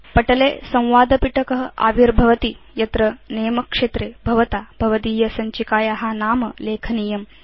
पटले संवादपिटक आविर्भवति यत्र नमे क्षेत्रे भवता भवदीय सञ्चिकाया नाम लेखनीयम्